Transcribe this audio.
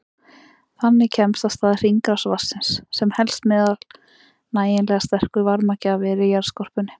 Þannig kemst af stað hringrás vatnsins sem helst meðan nægilega sterkur varmagjafi er í jarðskorpunni.